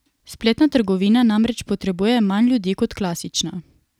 Spletna trgovina namreč potrebuje manj ljudi kot klasična.